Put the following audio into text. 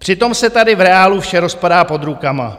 Přitom se tady v reálu vše rozpadá pod rukama.